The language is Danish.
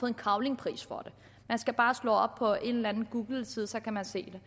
en cavlingpris for det man skal bare slå op på en eller anden googleside så kan man se